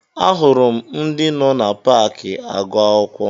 Ee, ahụrụ m ndị nọ na paakị agụ akwụkwọ